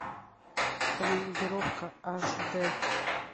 командировка аш д